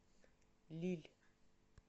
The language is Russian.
лилль